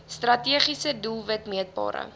strategiese doelwit meetbare